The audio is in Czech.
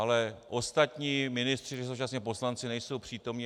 Ale ostatní ministři, kteří jsou současně poslanci, nejsou přítomni.